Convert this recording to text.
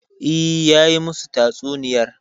E, har ya yi masu tatsuniyar.